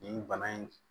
Nin bana in